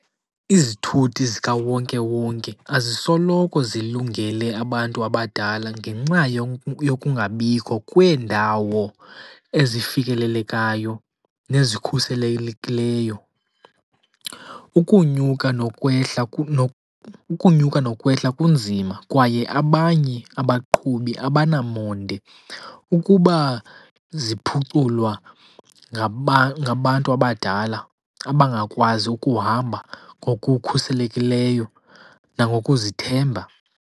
Izithuthi zikawonkewonke azisoloko zilungele abantu abadala ngenxa yokungabikho kweendawo ezifikelelekayo nezikhuselekileyo. Ukunyuka nokwehla , ukunyuka nokwehla kunzima kwaye abanye abaqhubi abanamonde. Ukuba ziphuculwa ngabantu abadala abangakwazi ukuhamba ngokukhuselekileyo nangokuzithemba.